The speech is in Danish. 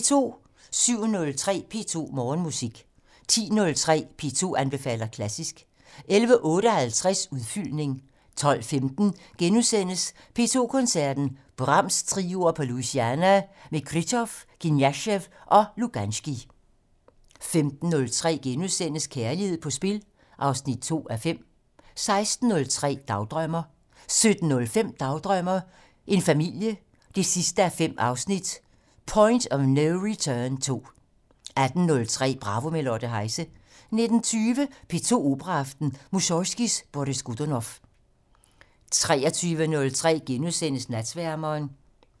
07:03: P2 Morgenmusik 10:03: P2 anbefaler klassisk 11:58: Udfyldning 12:15: P2 Koncerten - Brahms-trioer på Louisiana med Krylov, Kniazev og Luganskij * 15:03: Kærlighed på spil 2:5 16:03: Dagdrømmer 17:05: Dagdrømmer: en familie 5:5 - Point of no return 2 18:03: Bravo - med Lotte Heise 19:20: P2 Operaaften - Mussorgskij: Boris Godunov 23:03: Natsværmeren *